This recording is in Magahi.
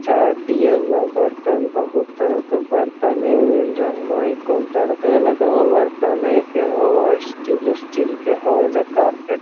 चाय पिए वाला बर्तन बहुत तरह के बरतने मिल रहलो इ काउंटर वे लगे हेय बर्तनवे के होअ स्टील उटील के होअ एजा कारपेट --